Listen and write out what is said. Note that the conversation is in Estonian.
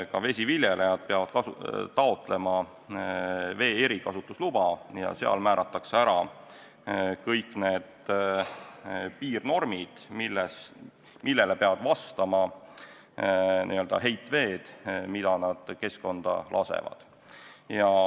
Ka vesiviljelejad peavad taotlema vee erikasutusluba ja seal määratakse ära kõik need piirnormid, millele peavad vastama heitveed, mida nad keskkonda lasevad.